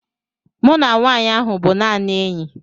Mụ na nwanyị ahụ bụ naanị enyi